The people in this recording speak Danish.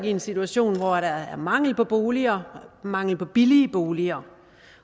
i en situation hvor der er mangel på boliger mangel på billige boliger